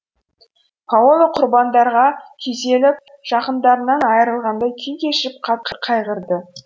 паола құрбандардарға күйзеліп жақындарынан айырылғандай күй кешіп қатты қайғырды